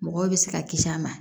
Mɔgɔw bɛ se ka kisi a ma